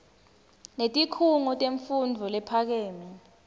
netikhungo temfundvo lephakeme